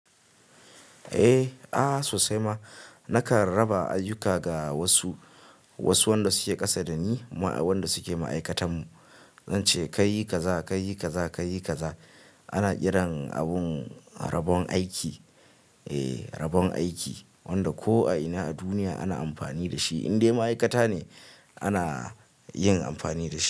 Eh, ah sosai ma naka raba ayyuka ga wasu, wasu wanda suke ƙasa dani wanda suke ma'aikatan mu, zance kayi kaza kayi kaza kayi kaza. Ana kiran abun rabon aiki, eh rabon aiki wanda ko a ina a duniya ana amfani da shi indai ma'aikata ne ana yin amfani da shi.